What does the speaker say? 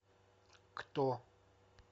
кто